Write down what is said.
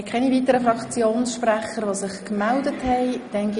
Es gibt keine weiteren Wortmeldungen.